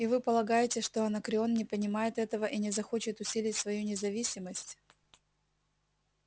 и вы полагаете что анакреон не понимает этого и не захочет усилить свою независимость